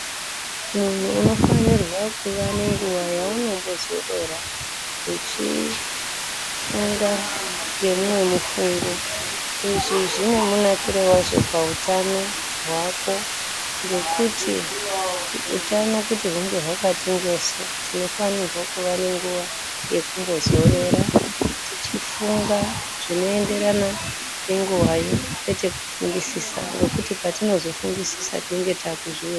Unofanirwa kuvanenguva yaunombozorora uchifunga ngeumwe mufungo izvi zvine munakire wazvo pautano hwako ngekuti utano kuti hunge hwakati njoso tinofanirwa kuve nenguva yekumbozorora tichifunga zvinoenderana nenguvayo kwete kufungisisa ngekuti patinozofungisisa tinenge takuzviuraya.